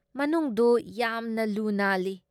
ꯃꯅꯨꯡꯗꯨ ꯌꯥꯝꯅ ꯂꯨ ꯅꯥꯜꯂꯤ ꯫